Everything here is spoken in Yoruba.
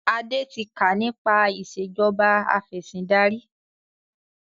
Adé tí kà nípa ìsèjọba afẹ̀sindarí